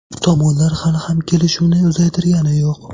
Tomonlar hali ham kelishuvni uzaytirgani yo‘q.